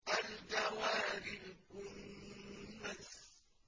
الْجَوَارِ الْكُنَّسِ